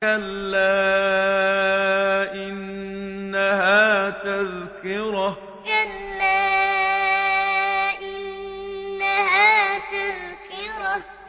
كَلَّا إِنَّهَا تَذْكِرَةٌ كَلَّا إِنَّهَا تَذْكِرَةٌ